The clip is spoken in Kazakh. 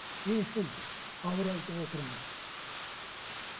не үшін ауыр айтып отырмын